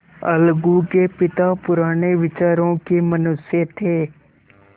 अलगू के पिता पुराने विचारों के मनुष्य थे